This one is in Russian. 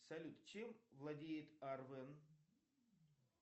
салют чем владеет арвен